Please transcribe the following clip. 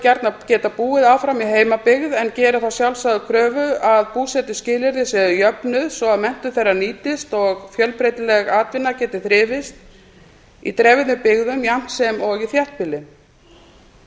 gjarnan geta búið áfram í heimabyggð en gerir þá sjálfsögðu kröfu að búsetuskilyrði séu jöfnuð svo að menntun þeirra nýtist og fjölbreytileg atvinna geti þrifist í dreifðum byggðum jafnt og í þéttbýli